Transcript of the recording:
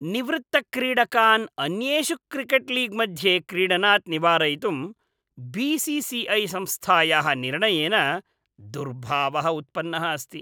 निवृत्तक्रीडकान् अन्येषु क्रिकेट्लीग्मध्ये क्रीडनात् निवारयितुं बी सी सी ऐ संस्थायाः निर्णयेन दुर्भावः उत्पन्नः अस्ति।